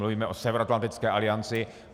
Mluvíme o Severoatlantické alianci.